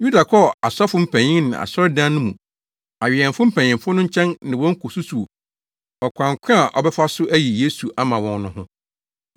Yuda kɔɔ asɔfo mpanyin ne Asɔredan no mu awɛmfo mpanyimfo no nkyɛn ne wɔn kosusuw ɔkwan ko a ɔbɛfa so ayi Yesu ama wɔn no ho.